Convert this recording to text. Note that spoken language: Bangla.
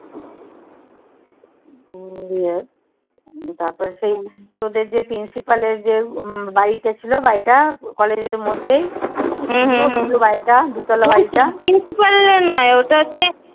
হম দিয়ে তারপর সেই তোদের যে principle এর যে বাড়িটা ছিল বাড়িটা college এর মধ্যেই।